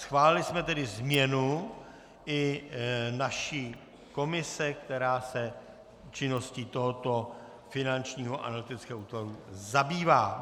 Schválili jsme tedy změnu i naší komise, která se činností tohoto Finančního analytického útvaru zabývá.